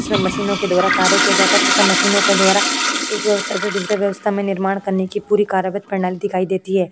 इसमें मशीनों के द्वारा कार्य किया जाता है तथा मशीनों के द्वारा एक व्यवस्था से दूसरे व्यवस्था में निर्माण करने की पूरी कार्यावत प्रणाली दिखाई देती है।